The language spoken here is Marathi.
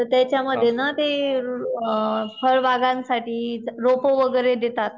तर त्याच्यामध्ये ना ते अ अ फळबागांसाठी रोप वगैरे देतात.